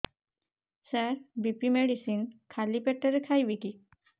ସାର BP medicine ଖାଲି ପେଟରେ ଖାଇବି କି